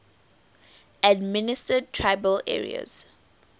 administered tribal areas